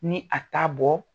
Ni a ta bɔ